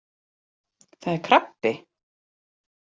Það er krabbi!